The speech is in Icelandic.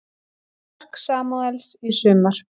Mörk Samúels í sumar